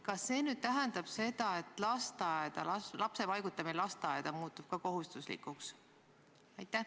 Kas see tähendab seda, et lapse paigutamine lasteaeda muutub ka kohustuslikuks?